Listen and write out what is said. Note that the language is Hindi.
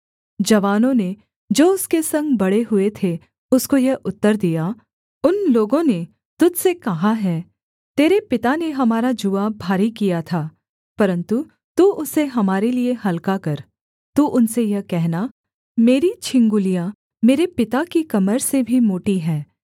जवानों ने जो उसके संग बड़े हुए थे उसको यह उत्तर दिया उन लोगों ने तुझ से कहा है तेरे पिता ने हमारा जूआ भारी किया था परन्तु तू उसे हमारे लिए हलका कर तू उनसे यह कहना मेरी छिंगुलिया मेरे पिता की कमर से भी मोटी है